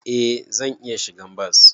Eh zan iya shigan bas.